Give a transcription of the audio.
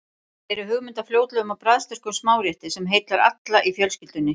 Hér er hugmynd að fljótlegum og bragðsterkum smárétti sem heillar alla í fjölskyldunni.